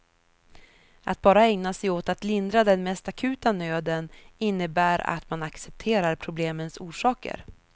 Att bara ägna sig åt att lindra den mest akuta nöden innebär att man accepterar problemens orsaker.